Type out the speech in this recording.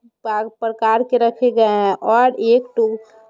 बाग प्रकार के रखे गए हैं और एक टूह --